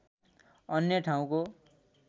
अन्य ठाउँको